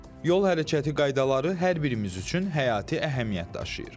Yol hərəkəti qaydaları hər birimiz üçün həyati əhəmiyyət daşıyır.